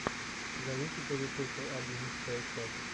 зовите повитуху одиннадцатая часть